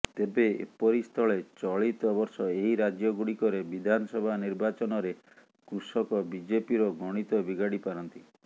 ତେବେ ଏପରିସ୍ଥଳେ ଚଳିତ ବର୍ଷ ଏହି ରାଜ୍ୟ ଗୁଡ଼ିକରେ ବିଧାନସଭା ନିର୍ବାଚନରେ କୃଷକ ବିଜେପିର ଗଣିତ ବିଗାଡ଼ି ପାରନ୍ତି